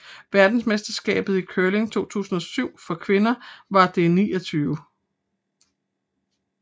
Verdensmesterskabet i curling 2007 for kvinder var det 29